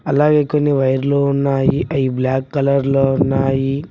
అలాగే కొన్ని వైర్లు ఉన్నాయి అయి బ్లాక్ కలర్ లో ఉన్నాయి.